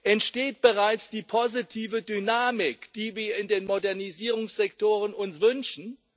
Entsteht bereits die positive Dynamik, die wir uns in den Modernisierungssektoren wünschen?